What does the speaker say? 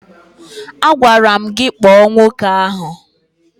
Agwara m gị kpọọ nwoke ahụ!